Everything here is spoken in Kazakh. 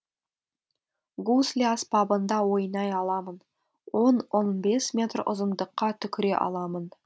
гусли аспабында ойнай аламын он он бес метр ұзындыққа түкіре аламын